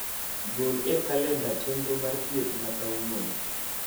gol e kalenda chenro mar thiethna kawuono